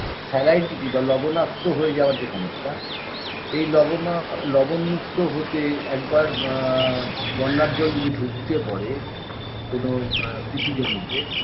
salinity বা লবনাক্ত হয়ে যাওয়ার যে সমস্যা এই লবনা লবণমুক্ত হতে একবার ব আ বন্যার জল যদি ঢুকে পড়ে কোনো কৃষি জমিতে